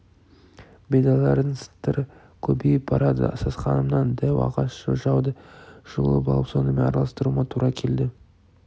бидайлардың сытыры көбейіп барады сасқанымнан дәу ағаш ожауды жұлып ап сонымен араластыруыма тура келді